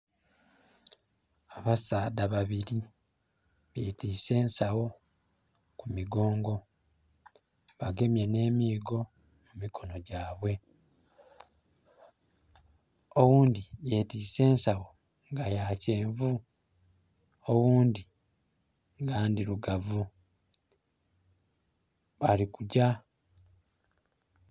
Abasaadha babiri betise ensagho ku migongo, bagemye ne miigo mu mikono gyabwe. Oghundhi yetise ensagho nga ya kyenvu oghundi nga ndhirugavu balikugya.